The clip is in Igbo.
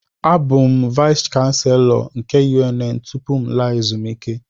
Abụ m Vais kanselọ nke UNN tụpụ mụ alaa ezumike